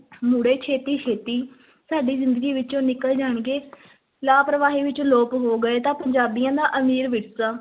ਮੁੜੇ ਛੇਤੀ-ਛੇਤੀ ਸਾਡੀ ਜ਼ਿੰਦਗੀ ਵਿੱਚੋਂ ਨਿਕਲ ਜਾਣਗੇ ਲਾਪਰਵਾਹੀ ਵਿੱਚ ਲੋਪ ਹੋ ਗਏ ਤਾਂ ਪੰਜਾਬੀਆਂ ਦਾ ਅਮੀਰ ਵਿਰਸਾ